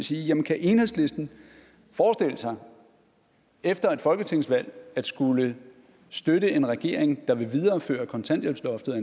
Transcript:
sige jamen kan enhedslisten forestille sig efter et folketingsvalg at skulle støtte en regering der vil videreføre kontanthjælpsloftet